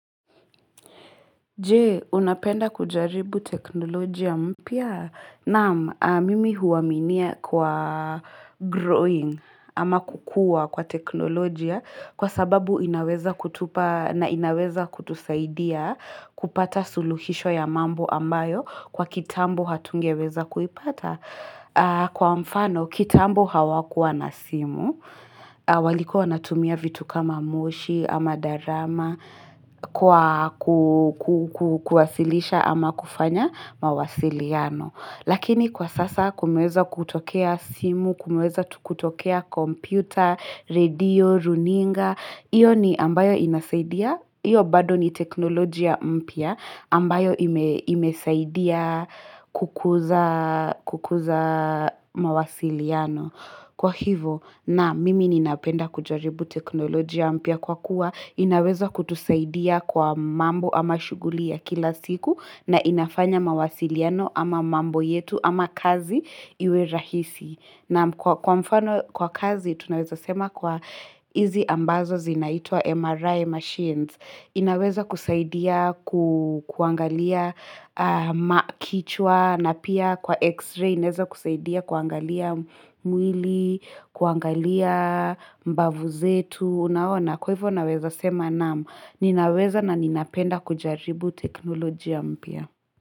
Je, unapenda kujaribu teknolojia mpya? Naam, mimi huaminia kwa "growing" ama kukua kwa teknolojia kwasababu inaweza kutupa na inaweza kutusaidia kupata suluhisho ya mambo ambayo kwa kitambo hatungeweza kuipata. Kwa mfano, kitambo hawakuwa na simu, walikuwa wanatumia vitu kama moshi ama darama kwa kuwasilisha ama kufanya mawasiliano. Lakini kwasasa kumeweza kutokea simu, kumeweza kutokea kompyuta, radio, runinga, iyo ni ambayo inasaidia, iyo bado ni teknolojia mpya ambayo imesaidia kukuza mawasiliano. Kwahivo naam, mimi ninapenda kujaribu teknolojia mpya kwakuwa inaweza kutusaidia kwa mambo ama shughuli ya kila siku na inafanya mawasiliano ama mambo yetu ama kazi iwe rahisi. Na kwamfano kwa kazi, tunaweza sema kwa hizi ambazo zinaitwa "MRI machines", inaweza kusaidia kuangalia kichwa, na pia kwa "x-ray" inaweza kusaidia kuangalia mwili, kuangalia mbavu zetu, unaona, kwahivyo naweza sema naam, ninaweza na ninapenda kujaribu teknolojia mpya.